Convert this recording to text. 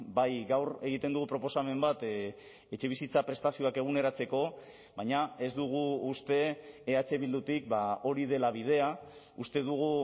bai gaur egiten dugu proposamen bat etxebizitza prestazioak eguneratzeko baina ez dugu uste eh bildutik hori dela bidea uste dugu